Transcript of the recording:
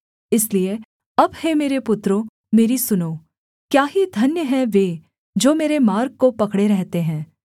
इसलिए अब हे मेरे पुत्रों मेरी सुनो क्या ही धन्य हैं वे जो मेरे मार्ग को पकड़े रहते हैं